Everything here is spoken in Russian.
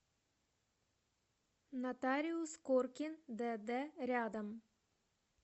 нотариус коркин дд рядом